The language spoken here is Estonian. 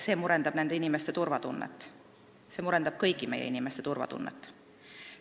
See murendab nende inimeste turvatunnet, see murendab kõigi meie inimeste turvatunnet.